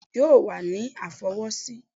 Bẹ́ẹ̀ni o yoo wa ni a fọwọsi.